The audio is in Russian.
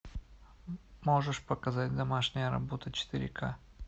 можешь показать домашняя работа четыре к